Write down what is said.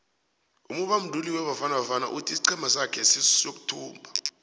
umubanduli webafana bafana uthi isiqhema sake siyothumba